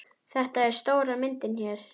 Þetta er stóra myndin hér.